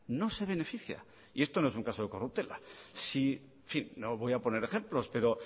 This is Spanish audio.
no se beneficia y esto no es un caso de corruptela en fin no voy a poner ejemplo pero